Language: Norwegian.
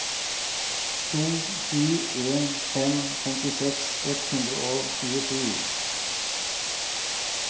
to sju en fem femtiseks ett hundre og tjuesju